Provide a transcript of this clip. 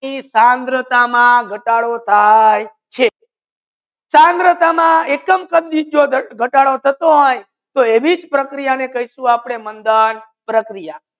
થંગરતા ગતાડો થાય છે થંગરતા એકદમ કામ ગતાડો થતુ હોય એવી પ્રકૃતિ કેહસુ મંધન પ્રકિયા